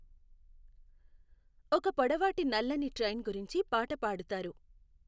ఒక పొడవాటి నల్లని ట్రైన్ గురించి పాట పాడుతారు